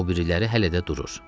Amma o biriləri hələ də durur.